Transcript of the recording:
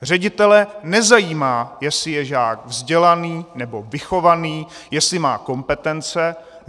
Ředitele nezajímá, jestli je žák vzdělaný nebo vychovaný, jestli má kompetence.